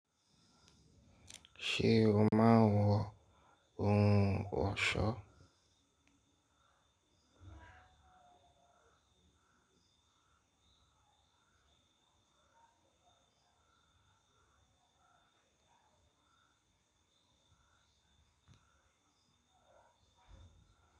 Ṣé o máa ń wọ ohun ọ̀ṣọ́?